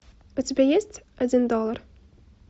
у тебя есть один доллар